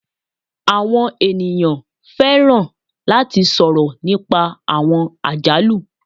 Àwọn ènìyàn fẹràn latí sọrọ nípá àwọn àjálù